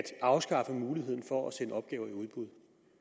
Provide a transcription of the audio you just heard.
afskaffe muligheden for at sende opgaver i udbud